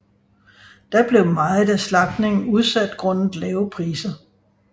Da blev meget af slagtningen udsat grundet lave priser